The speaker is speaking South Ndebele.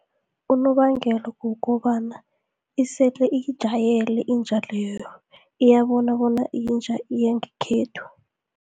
Unobangela kukobana isele iyijayele inja leyo, iyabona bona iyinja yangekhethu.